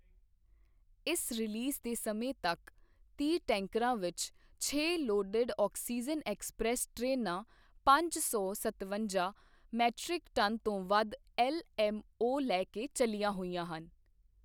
ਇਸ ਰੀਲੀਜ਼ ਦੇ ਸਮੇਂ ਤੱਕ, ਤੀਹ ਟੈਂਕਰਾਂ ਵਿੱਚ ਛੇ ਲੋਡਡ ਆਕਸੀਜਨ ਐਕਸਪ੍ਰੈੱਸ ਟ੍ਰੇਨਾਂ ਪੰਜ ਸੌ ਸਤਵੰਜਾ ਮੀਟ੍ਰਿਕ ਟਨ ਤੋਂ ਵੱਧ ਐੱਲਐੱਮਓ ਲੈ ਕੇ ਚੱਲੀਆਂ ਹੋਈਆਂ ਹਨ।